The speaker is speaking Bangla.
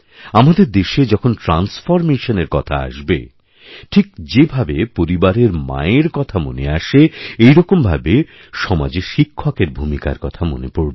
আমাদের দেশেযখন ট্রান্সফরমেশন এর কথা আসবে ঠিকযেভাবে পরিবারের মায়ের কথা মনে আসে একইরকম ভাবে সমাজে শিক্ষকের ভূমিকার কথা মনেপড়বে